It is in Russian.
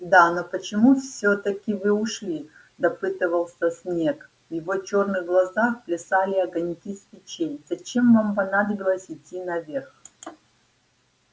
да но почему всё-таки вы ушли допытывался снегг в его черных глазах плясали огоньки свечей зачем вам понадобилось идти наверх